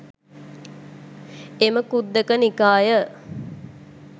එම ඛුද්දක නිකාය